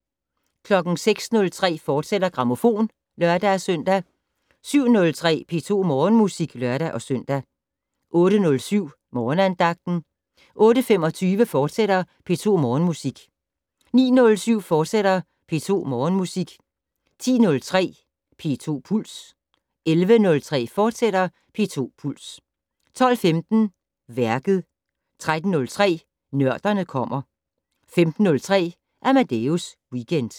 06:03: Grammofon, fortsat (lør-søn) 07:03: P2 Morgenmusik (lør-søn) 08:07: Morgenandagten 08:25: P2 Morgenmusik, fortsat 09:07: P2 Morgenmusik, fortsat 10:03: P2 Puls 11:03: P2 Puls, fortsat 12:15: Værket 13:03: Nørderne kommer 15:03: Amadeus Weekend